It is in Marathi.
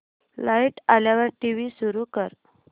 लाइट आल्यावर टीव्ही सुरू कर